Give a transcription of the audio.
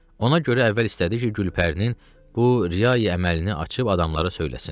Ona görə əvvəl istədi ki, Gülpərinin bu riyai əməlini açıb adamları söyləsin.